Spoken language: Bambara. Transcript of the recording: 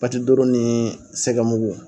patidoro ni sɛgɛmugu